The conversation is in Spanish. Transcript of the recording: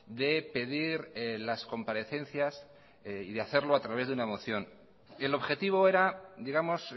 de pedir las comparecencias y de hacerlo a través de una moción el objetivo era digamos